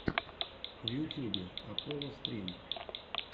в ютьюбе апполо стрим